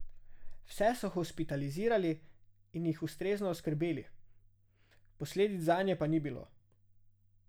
Vse so hospitalizirali in jih ustrezno oskrbeli, posledic zanje pa ni bilo.